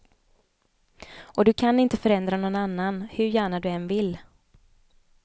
Och du kan inte förändra nån annan, hur gärna du än vill.